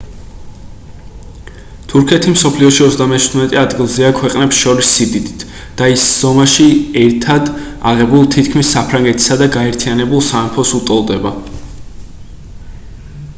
თურქეთი მსოფლიოში 37-ე ადგილზეა ქვეყნებს შორის სიდიდით და ის ზომაში ერთად აღებულ თითქმის საფრანგეთისა და გაერთიანებულ სამეფოს უტოლდება